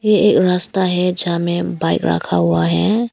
ये एक रास्ता है जहां में बाइक रखा हुआ है।